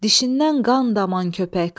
Dişindən qan daman köpək!